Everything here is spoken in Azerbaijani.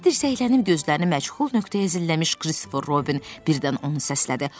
Yeri dirsəklənib gözlərini məchul nöqtəyə zilləmiş Kristofer Robin birdən onu səslədi.